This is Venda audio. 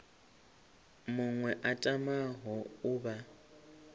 muṅwe a tamaho u vha